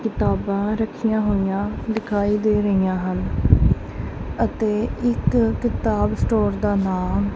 ਕਿਤਾਬਾਂ ਰੱਖੀਆਂ ਹੋਈਆਂ ਦਿਖਾਈ ਦੇ ਰਹੀਆਂ ਹਨ ਅਤੇ ਇੱਕ ਕਿਤਾਬ ਸਟੋਰ ਦਾ ਨਾਮ--